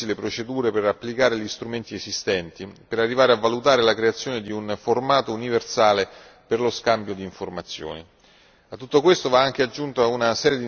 Occorre anche che la Commissione automatizzi le procedure, per applicare gli strumenti esistenti, per arrivare a valutare la creazione di un formato universale per lo scambio di informazioni.